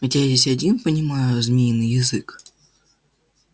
ведь я здесь один понимаю змеиный язык